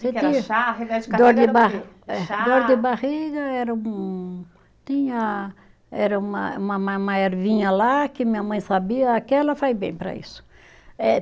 dor de ba eh, dor de barriga, era um tinha era uma, uma uma áervinha lá que minha mãe sabia, aquela faz bem para isso. Eh